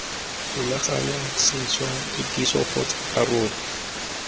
rulaganya sešwa kitsiso kgotsa karolo